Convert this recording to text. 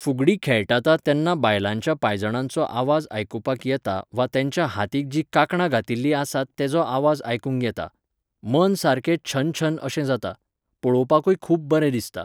फुगडी खेळटाता तेन्ना बायलांच्या पायजणांचो आवाज आयकुपाक येता वा तेंच्या हातीक जीं कांकणां घातिल्लीं आसात तेंचो आवाज आयकूंक येता. मन सारकें छनछन अशें जाता. पळोवपाकुय खूब बरें दिसता